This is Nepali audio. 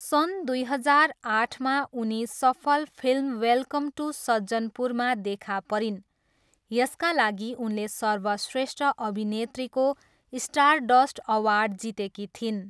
सन् दुई हजार आठमा उनी सफल फिल्म वेलकम टू सज्जनपुरमा देखा परिन्, यसका लागि उनले सर्वश्रेष्ठ अभिनेत्रीको स्टारडस्ट अवार्ड जितेकी थिइन्।